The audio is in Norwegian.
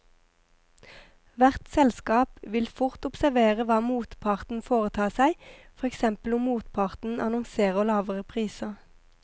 Hvert selskap vil fort observere hva motparten foretar seg, for eksempel om motparten annonserer lavere priser.